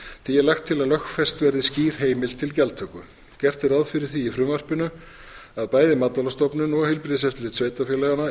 því er lagt til að lögfest verði skýr heimild til gjaldtöku gert er ráð fyrir því í frumvarpinu að bæði matvælastofnun og heilbrigðiseftirlit sveitarfélaganna innheimti